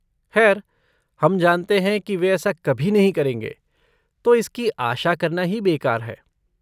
खैर, हम जानते हैं कि वे ऐसा कभी नहीं करेंगे, तो इसकी आशा करना ही बेकार है।